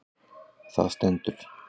Þar stendur: